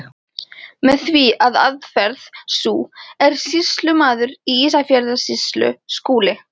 Með því að aðferð sú, er sýslumaður í Ísafjarðarsýslu Skúli